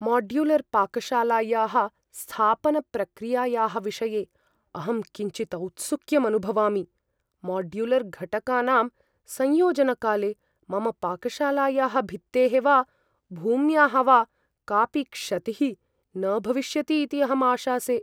Modular पाकशालायाः स्थापनप्रक्रियायाः विषये अहं किञ्चित् औत्सुक्यम् अनुभवामि। माड्युलर्घटकानां संयोजनकाले मम पाकशालायाः भित्तेः वा भूम्याः वा कापि क्षतिः न भविष्यति इति अहं आशासे।